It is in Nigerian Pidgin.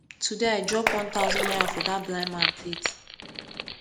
today i drop one thousand naira for dat blind man plate